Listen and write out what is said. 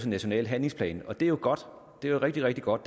national handlingsplan det er jo godt det er rigtig rigtig godt